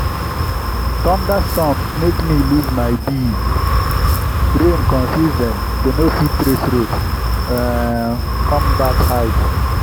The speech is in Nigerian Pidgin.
thunderstorm make me lose my bees—rain confuse dem dem no fit trace road um come back hive.